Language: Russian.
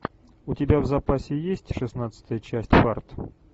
у тебя в запасе есть шестнадцатая часть фарт